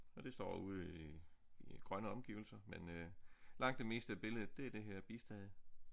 Og det står ude i i grønne omgivelser men øh langt det meste af billedet det er det her bistade